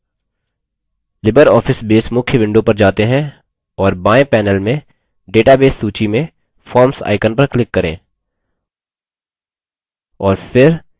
libreoffice base मुख्य window पर जाते हैं और base panel में database सूची में forms icon पर click करें